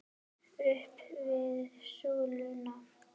Upp við súluna!